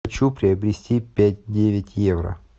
хочу приобрести пять девять евро